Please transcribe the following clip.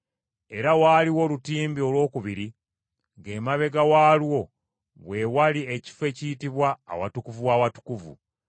Era waaliwo olutimbe olwokubiri ng’emabega waalwo we wali ekifo ekiyitibwa Awatukuvu w’Awatukuvu.